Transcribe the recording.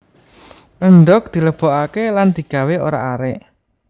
Endhog dilebokake lan digawé orak arik